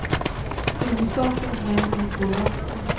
Huvudsaken är att de får vatten.